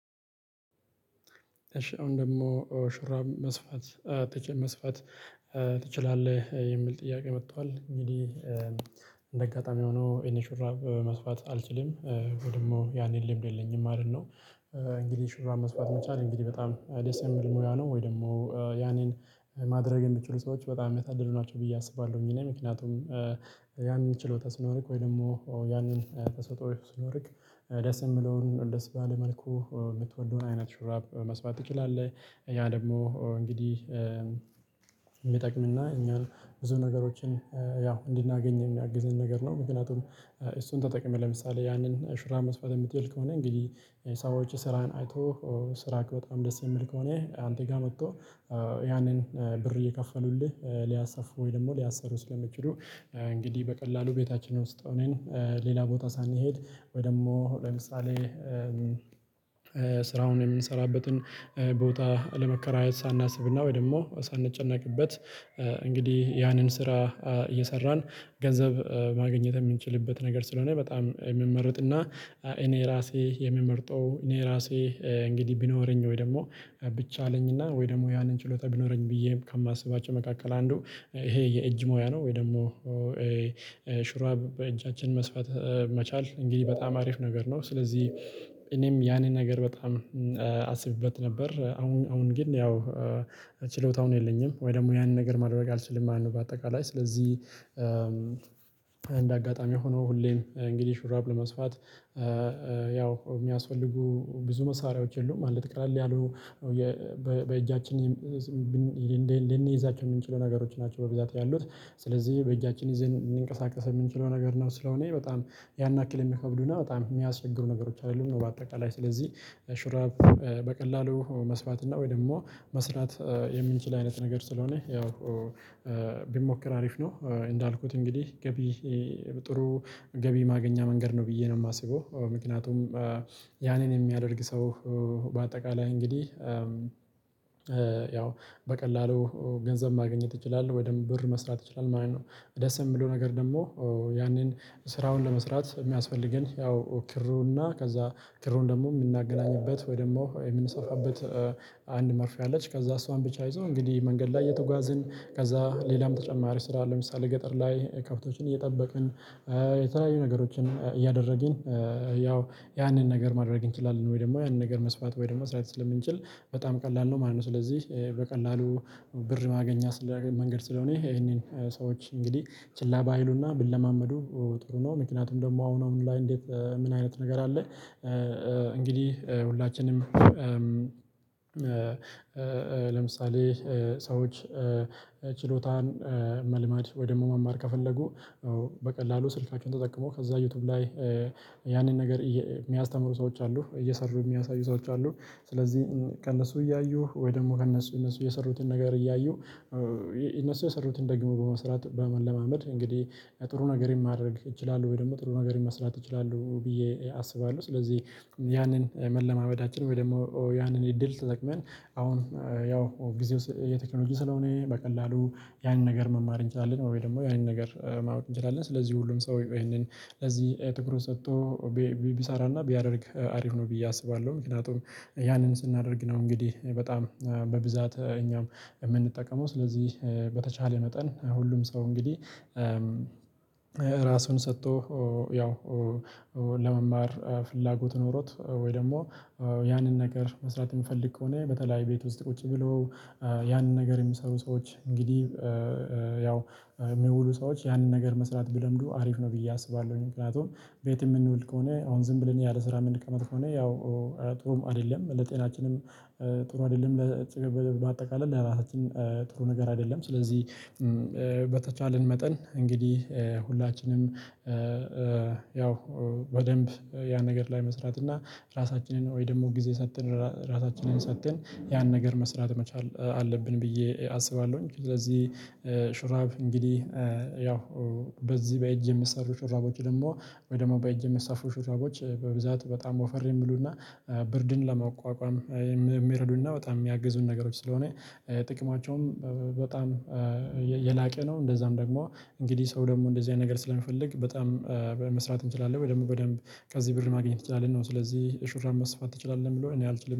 እሺ አሁን ደግሞ ሹራብ መስፋት መስፋት ትችላለህ የሚል ጥያቄ መጥቷል እንግዲ አጋጣሚ ሆኖ እኔ ሹራብ መስፋት አልችልም ወይ ደግሞ ያንን ልምድ የለኝም ማለት ነው። እንግዲህ ሽሩራ መስዋዕት መቻል እንግዲህ በጣም ደስ የሚል ሙያ ነው ወይ ደግሞ ያንን ማድረግ የሚችሉ ሰዎች በጣም የታደሉ ናቸው ብዬ አስባለሁ እኔ ምክንያቱም ያን ችሎታ ሲኖሪክ ወይ ደግሞ ያንን ተሰጦኦ ሲኖርክ ደስ የምለውን ወደ ባለ መልኩ የምትወደውን አይነት ሹራብ መስፋት ትችላለህ። ያ ደግሞ እንግዲህ የሚጠቅም እና እኛን ብዙ ነገሮችን ያው እንድናገኝ የሚያግዝን ነገር ነው። ምክንያቱም እሱን ተጠቅመህ ለምሳሌ ያንን ሹራብ መስራት የምትሄድ ከሆነ እንግዲህ ሰዎች ስራህን አይቶ ስራክ በጣም ደስ የሚል ከሆነ አንተ ጋር መጥቶ ያንን ብር እየከፈሉልህ ሊያሰፉ ወይ ደግሞ ሊያሰሩ ስለሚችሉ። እንግዲህ በቀላሉ ቤታችን ውስጥ ሆነን ሌላ ቦታ ሳንሄድ ወይ ደግሞ ለምሳሌ ስራውን የምንሰራበትን ቦታ ለመከራየት ሳናስብና ወይ ደግሞ ሳንጨነቅበት እንግዲህ ያንን ስራ እየሰራን ገንዘብ ማግኘት የምንችልበት ነገር ስለሆነ በጣም የምመረጥና። እኔ ራሴ የምመርጠው እኔ ራሴ እንግዲህ ቢኖረኝ ወይ ደግሞ ብቻለኝና ወይ ደግሞ ያንን ችሎታ ቢኖረኝ ብዬ ከማስባቸው መካከል አንዱ ይሄ የእጅ ሙያ ነው። ወይ ደግሞ ሽራብ በእጃችን መስፋት መቻል እንግዲህ በጣም አሪፍ ነገር ነው። ስለዚህ እኔም ያንን ነገር በጣም አስብበት ነበር አሁን አሁን ግን ያው ችሎታውን የለኝም ወይ ደግሞ ያንን ነገር ማድረግ አልችልም ማለት ነው። በአጠቃላይ ስለዚህ እንደ አጋጣሚ ሆኖ ሁሌም እንግዲ ሹራብ ለመስፋት ያው የሚያስፈልጉ ብዙ መሳሪያዎች የሉም ማለት ቀለል ያሉ በእጃችን ልንይዛቸው የምንችለው ነገሮች ናቸው። በብዛት ያሉት ስለዚህ በእጃችን ይዘን እንንቀሳቀስ የምንችለው ነገር ነው ስለሆነ በጣም ያን ያክል የሚከብዱና በጣም የሚያስቸግሩ ነገሮች አይደሉም። በአጠቃላይ ስለዚህ ሹራብ በቀላሉ መስፋት እና ወይ ደግሞ መስራት የምንችል አይነት ነገር ስለሆነ ያው ቢሞክር አሪፍ ነው። እንዳልኩት እንግዲህ ገቢ ጥሩ ገቢ ማግኛ መንገድ ነው ብዬ ነው የማስበው ምክንያቱም። ያንን የሚያደርግ ሰው በአጠቃላይ እንግዲህ ያው በቀላሉ ገንዘብ ማግኘት ይችላል ወይም ብር መስራት ይችላል ማለት ነው። ደስ የሚለው ነገር ደግሞ ያንን ስራውን ለመስራት የሚያስፈልገን ያው ክሩና ከዛ ክሩን ደግሞ የምናገናኝበት ወይ ደግሞ የምንሰፋበት አንድ መርፌ አለች። ከዛ እሷን ብቻ ይዞ እንግዲህ መንገድ ላይ የተጓዝን ከዛ ሌላም ተጨማሪ ስራ ለምሳሌ ገጠር ላይ ከብቶችን እየጠበቅን የተለያዩ ነገሮችን እያደረግን ያው ያንን ነገር ማድረግ እንችላለን ወይ ደግሞ ያንን ነገር መስፋት ወይ ደግሞ መስራት ስለምንችል በጣም ቀላል ነው ማለት ነው። ስለዚህ በቀላሉ ብር ማግኛ ስለሆነ መንገድ ስለሆነ ይሄንን ሰዎች እንግዲህ ችላ ባይሉና ቢለማመዱ ጥሩ ነው። ምክንያቱም ደግሞ አሁን አሁን ላይ እንዴት ምን አይነት ነገር አለ? እንግዲህ ሁላችንም ለምሳሌ ሰዎች ችሎታን መልመድ ወይ ደግሞ መማር ከፈለጉ በቀላሉ ስልካችን ተጠቅሞ ከዛ ዩቲዩብ ላይ ያንን ነገር የሚያስተምሩ ሰዎች አሉ እየሰሩ የሚያሳዩ ሰዎች አሉ። ስለዚህ ከእነሱ እያዩ ወይ ደግሞ ከእነሱ እነሱ የሰሩትን ነገር እያዩ እነሱ የሰሩትን ደግሞ በመስራት በመለማመድ እንግዲህ ጥሩ ነገር ማድረግ እችላለሁ ወይ ደግሞ ጥሩ ነገር መስራት ይችላሉ ብዬ አስባለሁ ስለዚህ። ያንን መለማመዳችን ወይ ደግሞ ያንን እድል ተጠቅመን አሁን ያው ጊዜው የቴክኖሎጂ ስለሆነ በቀላሉ ያንን ነገር መማር እንችላለን ወይ ደግሞ ያንን ነገር ማወቅ እንችላለን ስለዚህ ሁሉም ሰው ይሄንን እዚህ ትኩሩቱን ሰጥቶ ቢሰራና ቢያደርግ አሪፍ ነው። ብዬ አስባለሁ። ምክንያቱም ያንን ስናደርግ ነው እንግዲህ በጣም በብዛት እኛም የምንጠቀመው ስለዚህ በተቻለ መጠን ሁሉም ሰው እንግዲህ ራሱን ሰጥቶ ያው ለመማር ፍላጎት ኖሮት ወይ ደግሞ ያንን ነገር መስራት የምፈልግ ከሆነ በተለይ ቤት ውስጥ ቁጭ ብሎ ያንን ነገር የሚሰሩ ሰዎች እንግዲህ ያው የሚውሉ ሰዎች ያንን ነገር መስራት ቢለምዱ አሪፍ ነው ብዬ አስባለሁኝ። ምክያቱም ቤት የምንውል ከሆነ አሁን ዝም ብለን ያለ ስራ ምንቀመጥ ከሆነ ያው ጥሩም አይደለም ለጤናችንም ጥሩ አይደለም። በአጠቃላይ ለራሳችን ጥሩ ነገር አይደለም። ስለዚህ በተቻለን መጠን እንግዲህ ሁላችንም ያው በደንብ ያ ነገር ላይ መስራት እና ራሳችንን ወይ ደግሞ ጊዜ ሰጥተን ራሳችንን ሰጥተን ያን ነገር መስራት መቻል አለብን ብዬ አስባለሁኝ። ስለዚህ ሹራብ እንግዲህ ያው በዚህ በእጅ የሚሰሩ ሽራቦች ደግሞ ወይ ደግሞ በእጅ ሚሰፉ ሹራቦች በብዛት በጣም ወፈር የሚሉና ብርድን ለመቋቋም የሚረዱና በጣም የሚያግዙን ነገሮች ስለሆነ ጥቅማቸውም በጣም የላቀ ነው። እንደዛም ደግሞ እንግዲህ ሰው ደግሞ እንደዚህ አይነት ነገር ስለምፈልግ በጣም መስራት እንችላለን ደግሞ በደንብ ከዚህ ብር ማግኘት እንችላለን ነው ስለዚህ ሹራብ መስፋት ትችላለህ ሚለው እኔ አልችልም